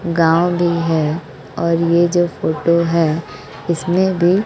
गांव भी है और ये जो फोटो है उसमें भी--